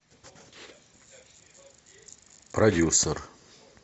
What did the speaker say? продюсер